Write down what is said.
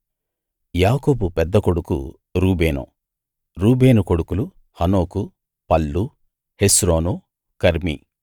యాకోబు పెద్ద కొడుకు రూబేను రూబేను కొడుకులు హనోకు పల్లు హెస్రోను కర్మీ